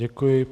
Děkuji.